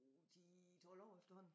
10 12 år efterhånden